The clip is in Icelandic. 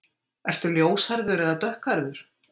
Ertu ljóshærður eða dökkhærður?